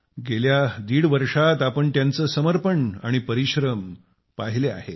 गेल्या दीड वर्षात आपण त्याचे समर्पण आणि परिश्रम पाहिले आहेत